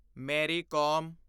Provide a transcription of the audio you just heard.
ਮੇਰੀ ਕੋਮ